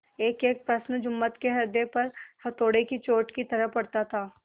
एकएक प्रश्न जुम्मन के हृदय पर हथौड़े की चोट की तरह पड़ता था